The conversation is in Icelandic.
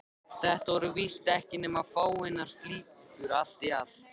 Þetta voru víst ekki nema fáeinar flíkur allt í allt.